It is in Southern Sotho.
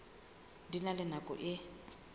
di na le nako e